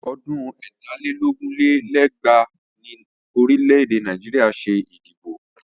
Ọdún ẹ̀ta lé lógún lé lẹ́gbàá ni orílẹ̀ Nàìjíríà ṣe ìdìbò.